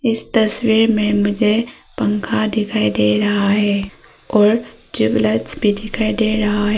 इस तस्वीर में मुझे पंखा दिखाई दे रहा है और ट्यूबलाइट्स भी दिखाई दे रहा है।